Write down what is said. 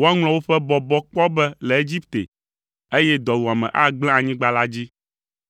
woaŋlɔ woƒe bɔbɔ kpɔ be le Egipte, eye dɔwuame agblẽ anyigba la dzi.